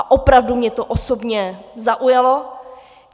A opravdu mě to osobně zaujalo.